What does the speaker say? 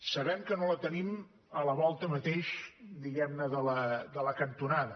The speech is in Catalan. sabem que no la tenim a la volta mateix diguem ne de la cantonada